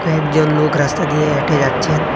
একজন লোক রাস্তা দিয়ে হেঁটে যাচ্ছেন।